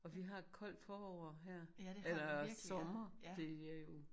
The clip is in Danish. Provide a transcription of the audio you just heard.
Og vi har et koldt forår her eller sommer det er jo